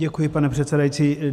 Děkuji, pane předsedající.